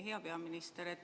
Hea peaminister!